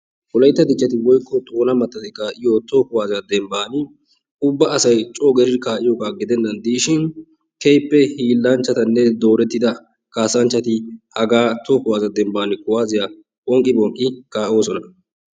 Wolaytta Dichchati woykko Xoona mattati kaa'yo toho kuwaasiya dembban ubba asay coo gelidi kaa'iyoba gidennan diishin keehippe hiillanchchatanne loohida kaassanchchati haagaa toho kuwaasiya dembbaan kuwaaziya phonqqi phonqqi kaa'oosona.